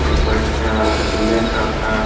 এর পরে একটা বুলেট রাখা।